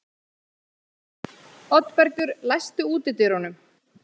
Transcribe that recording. Oddbergur, læstu útidyrunum.